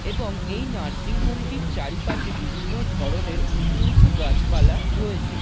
এবং এই nursing home টির চারিপাশে বিভিন্ন ধরণের উঁচু উঁচু গাছপালা রয়েছে।